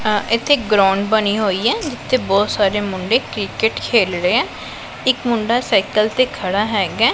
ਅ ਇੱਥੇ ਗਰਾਉਂਡ ਬਣੀ ਹੋਈ ਐ ਜਿੱਥੇ ਬਹੁਤ ਸਾਰੇ ਮੁੰਡੇ ਕ੍ਰਿਕਟ ਖੇਲ ਰਹੇ ਐ ਇੱਕ ਮੁੰਡਾ ਸਾਈਕਲ ਤੇ ਖੜਾ ਹੈਗੈ।